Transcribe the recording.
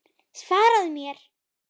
Svaraðu mér!